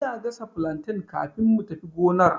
Ina gasa flantain kafin mu tafi gonar